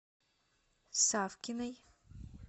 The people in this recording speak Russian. савкиной